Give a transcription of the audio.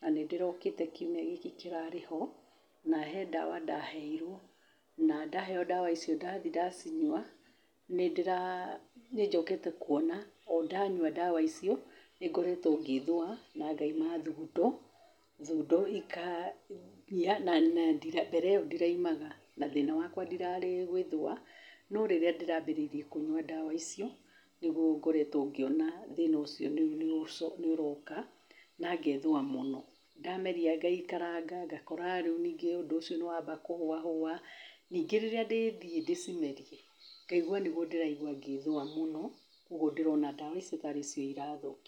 na nĩ ndĩrokĩte kiumia gĩkĩ kĩrarĩ ho, na he ndawa ndaheirwo. Na ndaheo ndawa icio ndathi ndanyua, nĩ ndĩra- nĩ njokete kũona o ndanyua ndawa icio, nĩ ngoretwo ngĩĩthũa na ngaima thundo. Thundo ikagĩa, na mbere ĩyo ndiraimaga, na thĩna wakwa ndirarĩ gwĩthũa. No rĩrĩa ndĩraambĩrĩirie kũnyua ndawa icio nĩguo ngoretwo ngĩona thĩna ũcio nĩ ũroka na ngethũa mũno. Ndameria ngaikaranga, ngakora rĩu ningĩ ũndũ ũcio nĩ wamba kũhũahũa. Ningĩ rĩrĩa ndĩthiĩ ndĩcimerie, ngaigua nĩguo ndĩraigua gwĩthũa mũno. Kwoguo ndĩrona ndawa ici tarĩ cio ĩrathũ-